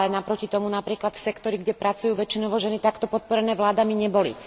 Naproti tomu napríklad sektory, kde pracujú väčšinou ženy, takto podporené vládami neboli.